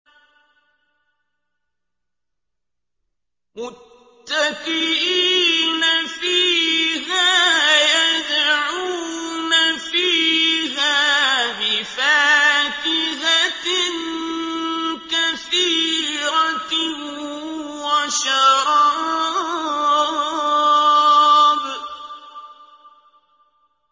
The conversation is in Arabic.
مُتَّكِئِينَ فِيهَا يَدْعُونَ فِيهَا بِفَاكِهَةٍ كَثِيرَةٍ وَشَرَابٍ